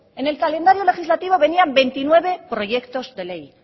en el calendario legislativo venían veintinueve proyectos de ley